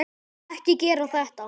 Ekki gera þetta.